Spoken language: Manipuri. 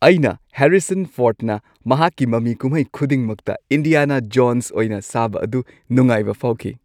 ꯑꯩꯅ ꯍꯦꯔꯤꯁꯟ ꯐꯣꯔꯗꯅ ꯃꯍꯥꯛꯀꯤ ꯃꯃꯤ ꯀꯨꯝꯍꯩ ꯈꯨꯗꯤꯡꯃꯛꯇ ꯏꯟꯗꯤꯌꯥꯅꯥ ꯖꯣꯟꯁ ꯑꯣꯏꯅ ꯁꯥꯕ ꯑꯗꯨ ꯅꯨꯡꯉꯥꯢꯕ ꯐꯥꯎꯈꯤ꯫